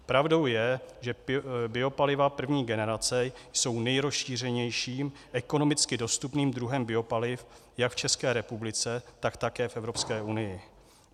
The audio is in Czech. Pravdou je, že biopaliva první generace jsou nejrozšířenějším, ekonomicky dostupným druhem biopaliv jak v České republice, tak také v Evropské unii.